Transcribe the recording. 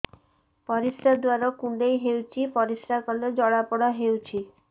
ପରିଶ୍ରା ଦ୍ୱାର କୁଣ୍ଡେଇ ହେଉଚି ପରିଶ୍ରା କଲେ ଜଳାପୋଡା ହେଉଛି